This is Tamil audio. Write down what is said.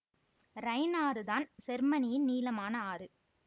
ரைன் ஆறு தான் செர்மனியின் நீளமான ஆறு